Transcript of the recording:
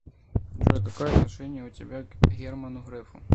джой какое отношение у тебя к герману грефу